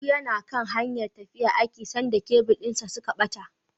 Audi yana kan hanyar tafiya aiki sanda kebil din suka bata.